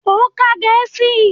Ó ka Gẹ̀ẹ́sì!